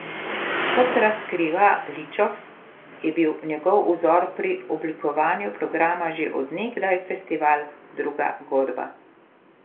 Kot razkriva Ličof, je bil njegov vzor pri oblikovanju programa že od nekdaj festival Druga godba.